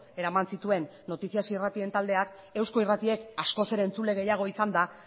eraman zituen noticias irratien taldeak eusko irratiek askoz ere entzule gehiago izanda